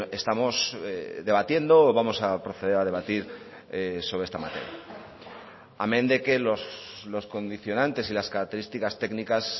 estamos debatiendo o vamos a proceder a debatir sobre esta materia amén de que los condicionantes y las características técnicas